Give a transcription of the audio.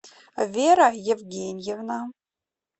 вера евгеньевна